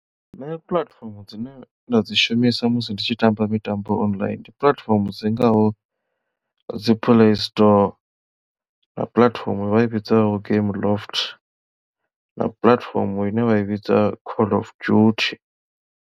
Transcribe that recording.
Nṋe puḽatifomo dzine nda dzi shumisa musi ndi tshi tamba mitambo online ndi puḽatifomo dzi ngaho dzi play store na puḽatifomo vha i vhidzaho game loft na puḽatifomo ine vha i vhidza call of duty.